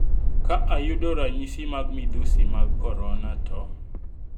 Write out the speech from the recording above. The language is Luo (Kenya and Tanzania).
Ka ayudo ranyisi mag midhusi mag korona to?